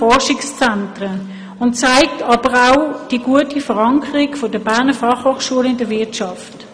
Dies zeigt auch die gute Verankerung der Fachhochschule in der Wirtschaft.